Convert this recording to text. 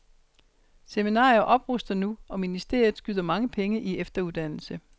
Seminarierne opruster nu, og ministeriet skyder mange penge i efteruddannelse.